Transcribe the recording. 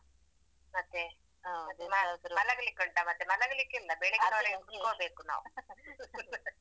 ಮತ್ತೆ ಮಲಗ್ಲಿಕ್ಕುಂಟ ಮತ್ತೆ ಮಲಗ್ಲಿಕ್ಕಿಲ್ಲ ಕುತ್ಕೋಬೇಕು ನಾವು.